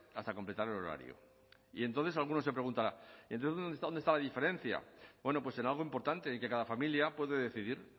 hasta completar el horario y entonces alguno se preguntará y entonces dónde está la diferencia bueno pues en algo importante en que cada familia puede decidir